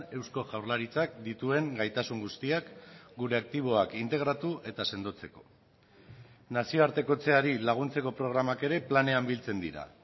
eusko jaurlaritzak dituen gaitasun guztiak gure aktiboak integratu eta sendotzeko nazioartekotzeari laguntzeko programak ere planean biltzen dira